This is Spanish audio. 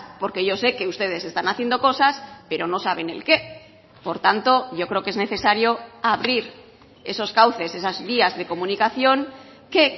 porque yo sé que ustedes están haciendo cosas pero no saben el qué por tanto yo creo que es necesario abrir esos cauces esas vías de comunicación que